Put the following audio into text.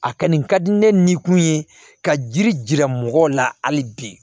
A kɔni ka di ne ni kun ye ka jiri jira mɔgɔw la hali bi